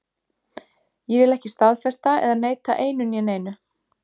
Ég vil ekki staðfesta eða neita einu né neinu.